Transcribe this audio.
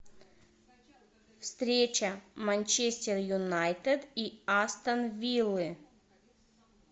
встреча манчестер юнайтед и астон виллы